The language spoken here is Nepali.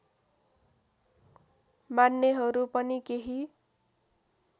मान्नेहरू पनि केही